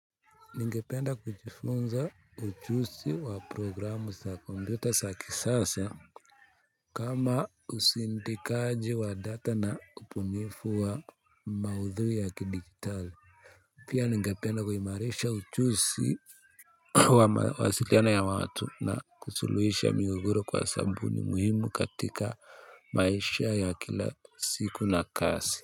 Ningependa kujifunza uchusi wa programu sa kompyuta za kisasa. Kama usindikaji wa data na ubunifu wa maudhui ya kidigitali pia ningependa kuimarisha uchusi wa mawasiliana ya watu na kusuluisha migogoro kwa sababu ni muhimu katika maisha ya kila siku na kasi.